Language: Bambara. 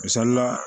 Misalila